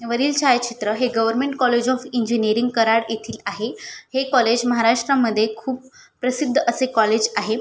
वरील छायाचित्र है government college of engineering Karad येथील आहे. है कॉलेज महाराष्ट्रमध्ये खूप प्रसिद्ध असे कॉलेज आहे.